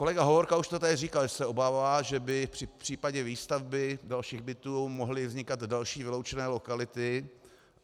Kolega Hovorka už to tady říkal, že se obává, že by v případě výstavby dalších bytů mohly vznikat další vyloučené lokality.